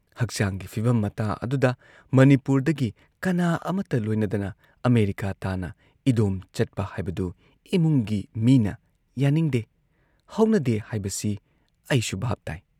ꯍꯛꯆꯥꯡꯒꯤ ꯐꯤꯚꯝ ꯃꯇꯥ ꯑꯗꯨꯗ, ꯃꯅꯤꯄꯨꯔꯗꯒꯤ ꯀꯅꯥ ꯑꯃꯠꯇ ꯂꯣꯏꯅꯗꯅ ꯑꯃꯦꯔꯤꯀꯥ ꯇꯥꯟꯅ ꯏꯗꯣꯝ ꯆꯠꯄ ꯍꯥꯏꯕꯗꯨ ꯏꯃꯨꯡꯒꯤ ꯃꯤꯅ ꯌꯥꯅꯤꯡꯗꯦ ꯍꯧꯅꯗꯦ ꯍꯥꯏꯕꯁꯤ ꯑꯩꯁꯨ ꯚꯥꯕ ꯇꯥꯏ ꯫